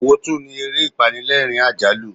Èwo tún ni ere apanilerin-ajalu?